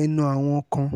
ẹnu àwọn kan